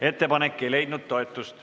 Ettepanek ei leidnud toetust.